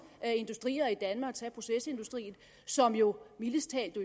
industrier i danmark tag procesindustrien som jo mildest talt i